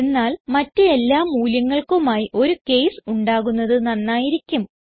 എന്നാൽ മറ്റ് എല്ലാ മൂല്യങ്ങൾക്കുമായി ഒരു കേസ് ഉണ്ടാകുന്നത് നന്നായിരിക്കും